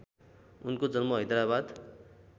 उनको जन्म हैदराबाद